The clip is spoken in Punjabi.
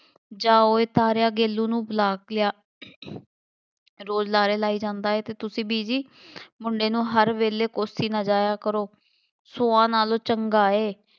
ਜਾ ਓਏ ਤਾਰਿਆ ਗੇਲੂ ਨੂੰ ਬੁਲਾ ਕੇ ਲਿਆ ਰੋਜ਼ ਲਾਰੇ ਲਾਈ ਜਾਂਦਾ ਏ ਅਤੇ ਤੁਸੀਂ ਬੀਜੀ ਮੁੰਡੇ ਨੂੰ ਹਰ ਵੇਲੇ ਕੋਸੀ ਨਾ ਜਾਇਆ ਕਰੋ, ਸੌਆ ਨਾਲੋਂ ਚੰਗਾ ਏ,